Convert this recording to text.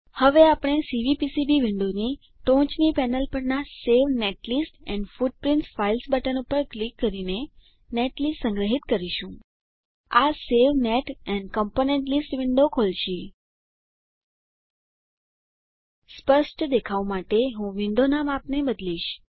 હવે આપણે સીવીપીસીબી વિન્ડોની ટોચની પેનલ પરનાં save netlist and footprint files button પર ક્લિક કરીને નેટલિસ્ટ સંગ્રહિત કરીશું આ save net and component list window ખોલશે સ્પષ્ટ દેખાવ માટે હું આ વિન્ડોનાં માપને બદલીશ